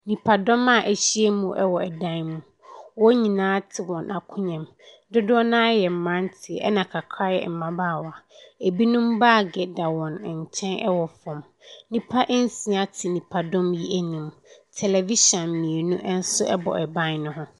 Nnipadɔm a wɔahyiam wɔ dan mu. Wɔn nyinaa te wɔn akonnwa mu. Dodoɔ no ara yɛ mmeranteɛ, ɛnna kakra yɛ mmabaawa. Ebinom baage da wɔn nkyɛn wɔ fam. Nnipa nsia te nnipadɔm yi ani. Tɛlɛvihyin mmienu nso bɔ ban no ho.